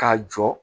K'a jɔ